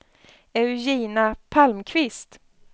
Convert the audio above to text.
Eugenia Palmqvist